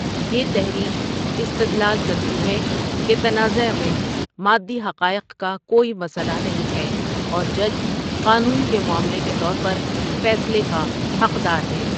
یہ تحریک استدلال کرتی ہے کہ تنازعہ میں مادی حقائق کا کوئی مسئلہ نہیں ہے اور جج قانون کے معاملے کے طور پر فیصلے کا حقدار ہے۔